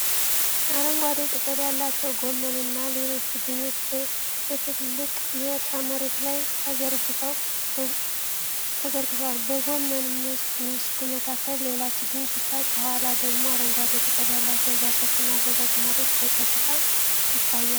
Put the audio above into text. አረንጓዴ ቅጠል ያላቸው ጎመንና ሌሎች ችግኞች በትልቅ የእርሻ መሬት ላይ ተዘርግተዋል። በጎመን መስኩ መካከል ሌላ ችግኝ ሲታይ፤ ከኋላው ደግሞ አረንጓዴ ቅጠል ያላቸው ዛፎችና ደረቅ መሬት በፀጥታ ይታያሉ።